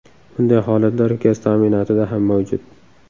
Bunday holatlar gaz ta’minotida ham mavjud.